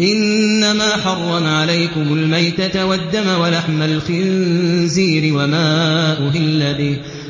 إِنَّمَا حَرَّمَ عَلَيْكُمُ الْمَيْتَةَ وَالدَّمَ وَلَحْمَ الْخِنزِيرِ